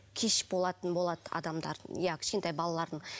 кеш болатын болады адамдардың иә кішкентай балалардың